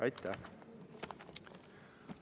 Aitäh!